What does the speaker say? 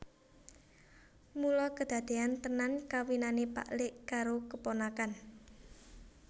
Mula kedadeyan tenan kawinane pak lik karo keponakan